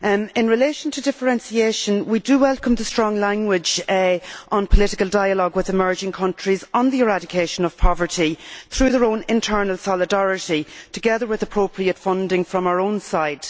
In relation to differentiation, we do welcome the strong wording on political dialogue with emerging countries on the eradication of poverty through their own internal solidarity, together with appropriate funding from our own side.